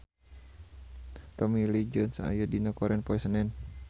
Tommy Lee Jones aya dina koran poe Senen